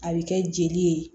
A bɛ kɛ jeli ye